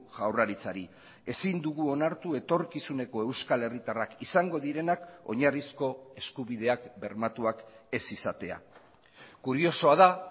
jaurlaritzari ezin dugu onartu etorkizuneko euskal herritarrak izango direnak oinarrizko eskubideak bermatuak ez izatea kuriosoa da